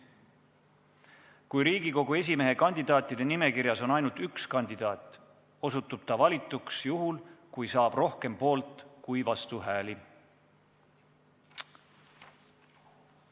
Kui Riigikogu esimehe kandidaatide nimekirjas on ainult üks kandidaat, osutub ta valituks juhul, kui saab rohkem poolt- kui vastuhääli.